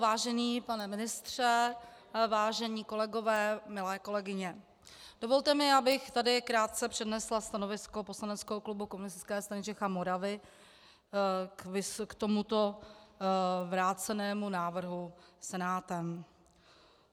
Vážený pane ministře, vážení kolegové, milé kolegyně, dovolte mi, abych tady krátce přednesla stanovisko poslaneckého klubu Komunistické strany Čech a Moravy k tomuto vrácenému návrhu Senátem.